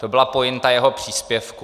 To byla pointa jeho příspěvku.